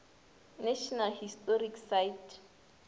national historic site